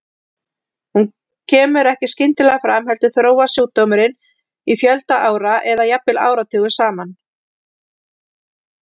Hún kemur ekki skyndilega fram heldur þróast sjúkdómurinn í fjölda ára eða jafnvel áratugum saman.